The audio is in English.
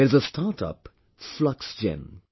There is a StartUp Fluxgen